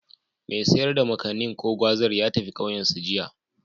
Mai sayar da Makanin/Gwazar ya tafi ƙauyensu, jiya.